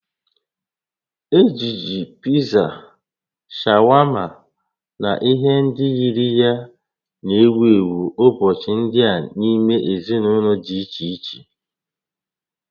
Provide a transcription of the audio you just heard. Ojiji Pizza, shawama na ihe ndị yiri ya na-ewu ewu ụbọchị ndị a n'ime ezinụlọ dị iche iche